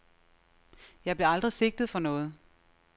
Jeg blev aldrig sigtet for noget.